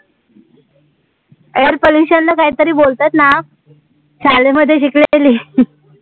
air pollution ला काही तरी बोलतात ना, शाळेमध्ये जिकडे